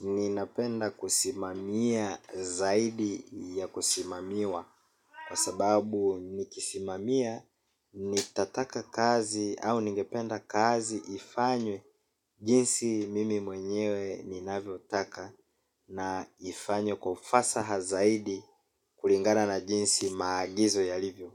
ninapenda kusimamia zaidi ya kusimamiwa kwa sababu nikisimamia, nitataka kazi au ningependa kazi ifanywe jinsi mimi mwenyewe ninavyotaka na ifanywe kwa ufasaha zaidi kulingana na jinsi maagizo yalivyo.